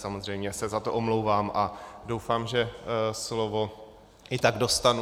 Samozřejmě se za to omlouvám a doufám, že slovo i tak dostanu.